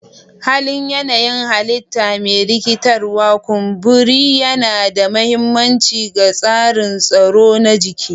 Halin yanayin halitta mai rikitarwa, kumburi yana da mahimmanci ga tsarin tsaro na jiki.